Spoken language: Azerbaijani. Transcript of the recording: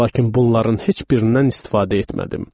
Lakin bunların heç birindən istifadə etmədim.